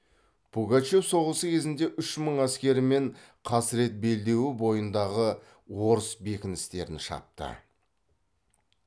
пугачев соғысы кезінде үш мың әскерімен қасірет белдеуі бойындағы орыс бекіністерін шапты